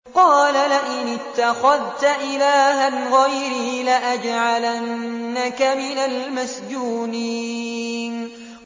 قَالَ لَئِنِ اتَّخَذْتَ إِلَٰهًا غَيْرِي لَأَجْعَلَنَّكَ مِنَ الْمَسْجُونِينَ